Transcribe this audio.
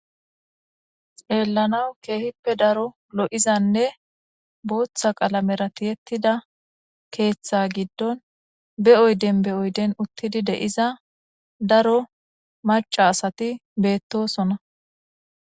Xeellanawu keehippe daro lo7izanne booththa qalamera tiyettida keeththa giddon be7oyden be7oyden uttidi de7iza daro maca asati beettosona